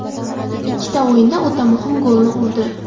Ikkita o‘yinda o‘ta muhim golni urdi.